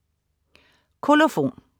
Kolofon